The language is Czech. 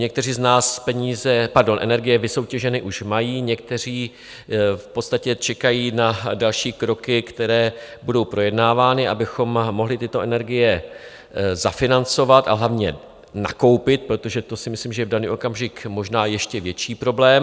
Někteří z nás energie vysoutěženy už mají, někteří v podstatě čekají na další kroky, které budou projednávány, abychom mohli tyto energie zafinancovat, a hlavně nakoupit, protože to si myslím, že je v daný okamžik možná ještě větší problém.